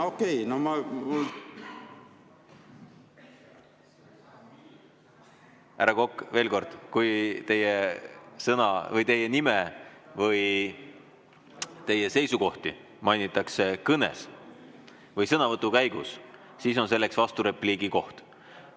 Härra Kokk, veel kord, kui teie nime või teie seisukohti mainitakse kõnes või sõnavõtu käigus, siis on vasturepliigi võimalus.